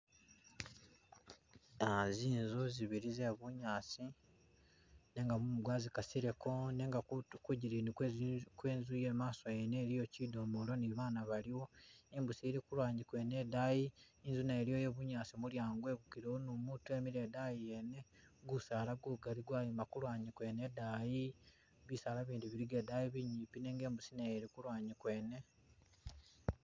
Ah zinzu zibili ze bunyaasi nenga mumu gwazikasileko nenga kutu ku jilini kwe zinzu kwe nzu i'maaso yene iliyo kidomolo ni baana baliwo. Imbusi ili kulwanyi kwene idayi inzu naye iliyo ye bunyaasi mulyango gwegukilewo ni umutu emile idayi yene, gusaala gugali gwayima ku lwanyi kwene idayi bisaala bindi biliga idayi binyimpi nenga imbusi nayo ili ku lwanyi kwene